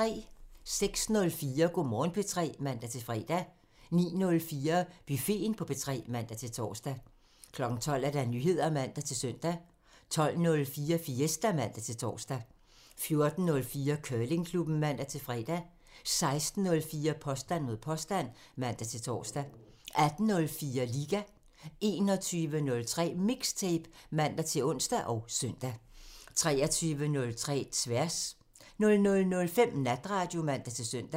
06:04: Go' Morgen P3 (man-fre) 09:04: Buffeten på P3 (man-tor) 12:00: Nyheder (man-søn) 12:04: Fiesta (man-tor) 14:04: Curlingklubben (man-fre) 16:04: Påstand mod påstand (man-tor) 18:04: Liga (man) 21:03: MIXTAPE (man-ons og søn) 23:03: Tværs (man) 00:05: Natradio (man-søn)